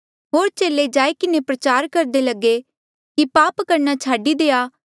होर चेले जाई किन्हें प्रचार करदे लगे कि पाप करणा छाडी देआ